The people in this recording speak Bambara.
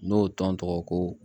N'o tɔn tɔgɔ ko